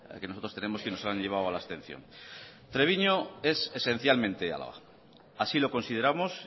que nosotros tenemos que nos han llevado a la abstención treviño es esencialmente álava así lo consideramos